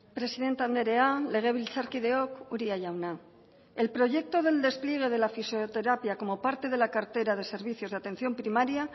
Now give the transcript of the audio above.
presidente andrea legebiltzarkideok uria jauna el proyecto del despliegue de la fisioterapia como parte de la cartera de servicios de atención primaria